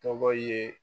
Tɔgɔ ye